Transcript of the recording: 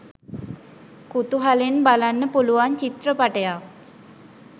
කුතුහලයෙන් බලන්න පුළුවන් චිත්‍රපටයක්.